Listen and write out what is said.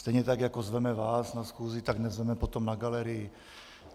Stejně tak jako zveme vás na schůzi, tak nezveme potom na galerii.